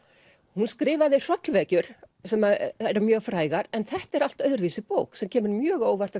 hún skrifaði hrollvekjur sem eru mjög frægar en þetta er allt öðruvísi bók sem kemur mjög á óvart